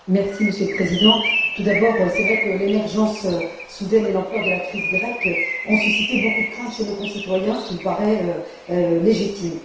Monsieur le Président, tout d'abord il est vrai que l'émergence soudaine et l'ampleur de la crise grecque ont suscité beaucoup de craintes chez nos concitoyens, ce qui me paraît légitime.